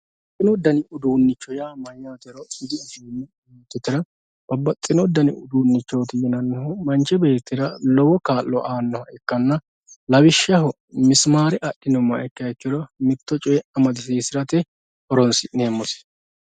Babbaxxino dani uduuncho yaa mayyatero dibuuxommo yoottotera babbaxxino dani uduunchoti yinannihu manchi beettira lowo kaa'lo aanoho ikkanna lawishshaho misimare adhinuummoha ikkiha ikkiro mitto coye amadisiisirate horonsi'neemmose.